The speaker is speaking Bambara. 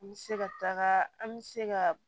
N bɛ se ka taga an bɛ se ka